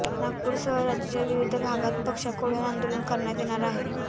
नागपूरसह राज्याच्या विविध भागांत पक्षाकडून आंदोलन करण्यात येणार आहे